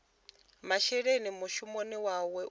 masheleni mushumoni wawe u fusha